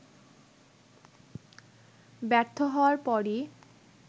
ব্যর্থ হওয়ার পরই